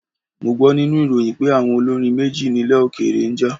Mo gbọ́ nínú ìròyìn pé àwọn olórin méjì nílẹ̀ òkèèrè ń jà.